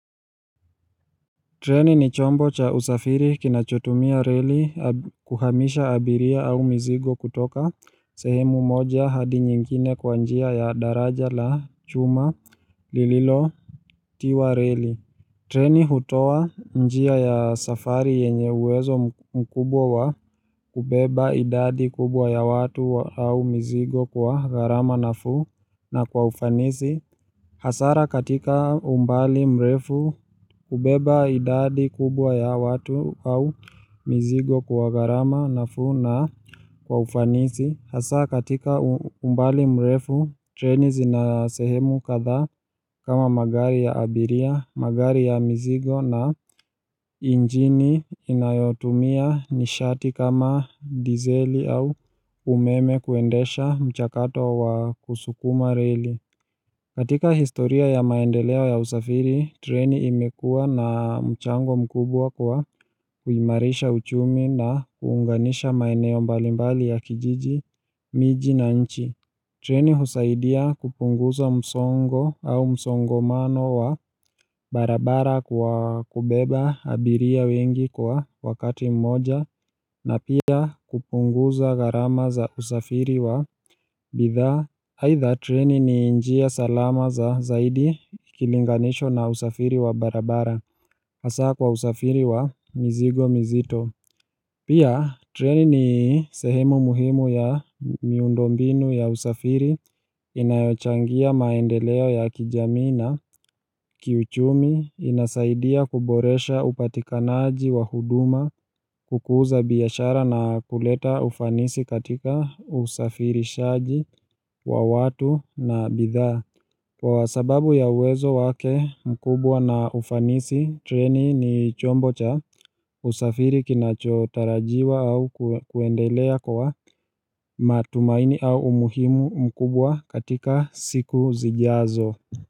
Treni ni chombo cha usafiri kinachotumia relo kuhamisha abiria au mizigo kutoka sehemu moja hadi nyingine kwa njia ya daraja la chuma lililotiwa reli. Treni hutowa njia ya safari yenye uwezo mkubwa wa kubeba idadi kubwa ya watu au mizigo kwa gharama nafuu na kwa ufanisi. Hasara katika umbali mrefu hubeba idadi kubwa ya watu au mizigo kwa gharama nafuu na kwa ufanisi. Hasa katika umbali mrefu treni zina sehemu kadha kama magari ya abiria, magari ya mizigo na injini inayotumia nishati kama dizeli au umeme kuendesha mchakato wa kusukuma reli. Katika historia ya maendeleo ya usafiri, treni imekua na mchango mkubwa kwa kuimarisha uchumi na kuunganisha maeneo mbalimbali ya kijiji, miji na nchi. Treni husaidia kupunguza msongo au msongamano wa barabara kwa kubeba abiria wengi kwa wakati mmoja na pia kupunguza gharama za usafiri wa bitha. Aidhaa treni ni njia salama zaidi ikilinganishwa na usafiri wa barabara Hasa kwa usafiri wa mzigo mzito Pia treni ni sehemu muhimu ya miundombinu ya usafiri inayochangia maendeleo ya kijamii na kiuchumi inasaidia kuboresha upatikanaji wa huduma kukuza biashara na kuleta ufanisi katika usafirishaji wa watu na bidhaa. Kwa sababu ya uwezo wake mkubwa na ufanisi, treni ni chombo cha usafiri kinachotarajiwa au kuendelea kwa matumaini au umuhimu mkubwa katika siku zijazo.